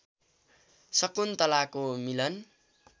शकुन्तलाको मिलन